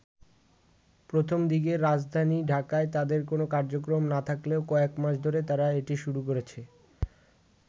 প্রথম দিকে রাজধানী ঢাকায় তাদের কোন কার্যক্রম না থাকলেও কয়েক মাস ধরে তারা এটি শুরু করেছে।